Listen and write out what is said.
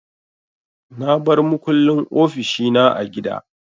Na bar makullin ofishi na a gida.